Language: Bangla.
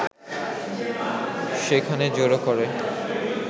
সেখানে জড়ো করে